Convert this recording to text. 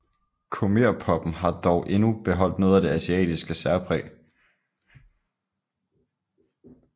Khmerpoppen har dog endnu beholdt noget af det asiatiske særpræg